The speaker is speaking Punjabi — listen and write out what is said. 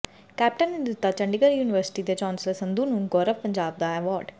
ਕੈਪਟਨ ਨੇ ਦਿੱਤਾ ਚੰਡੀਗੜ੍ਹ ਯੂਨੀਵਰਸਿਟੀ ਦੇ ਚਾਂਸਲਰ ਸੰਧੂ ਨੂੰ ਗੌਰਵ ਪੰਜਾਬ ਦਾ ਐਵਾਰਡ